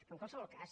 però en qualsevol cas